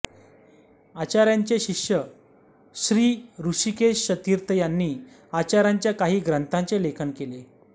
आचार्यांचे शिष्य श्रीहृषिकेशतीर्थ यांनी आचार्यांच्या काही ग्रंथांचे लेखन केले